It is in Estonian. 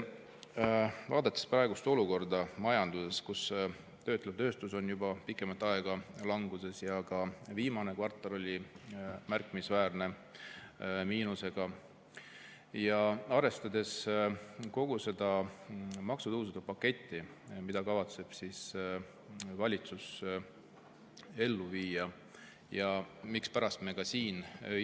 Vaadates praegust olukorda majanduses, kus töötlev tööstus on juba pikemat aega languses ja ka viimane kvartal oli märkimisväärse miinusega, ja arvestades kogu seda maksutõusude paketti, mille kavatseb valitsus ellu viia, neid istungeid teemegi.